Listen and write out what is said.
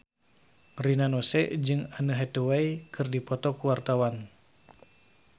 Rina Nose jeung Anne Hathaway keur dipoto ku wartawan